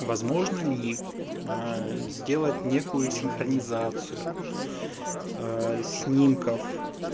возможно ли сделать некую синхронизацию а снимков